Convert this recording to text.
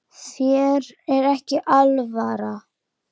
Þér er ekki alvara